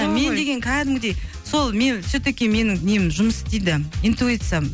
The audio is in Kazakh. мен деген кәдімгідей сол мен все таки менің нем жұмыс істейді интуициям